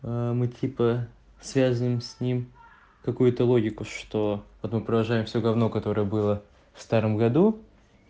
мы типа связываем с ним какую-то логику что потом провожаем всё гавно которое было в старом году